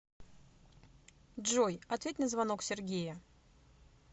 джой ответь на звонок сергея